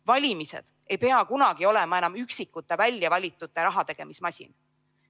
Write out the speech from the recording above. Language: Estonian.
Valimised ei pea kunagi olema enam üksikute väljavalitute rahategemismasin.